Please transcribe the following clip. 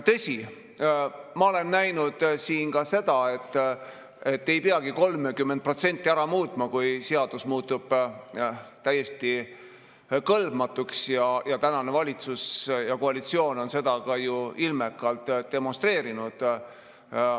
Tõsi, ma olen siin näinud ka seda, et ei peagi 30% ära muutma, et seadus muutuks täiesti kõlbmatuks, ja tänane valitsus ja koalitsioon on seda ju ka ilmekalt demonstreerinud.